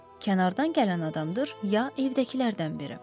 Kənardan gələn adamdır ya evdəkilərdən biri?